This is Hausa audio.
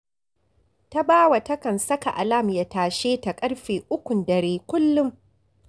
Tabawa takan saka alam ya tashe ta ƙarfe ukun dare kullum